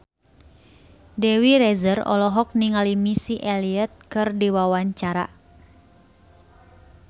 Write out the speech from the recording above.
Dewi Rezer olohok ningali Missy Elliott keur diwawancara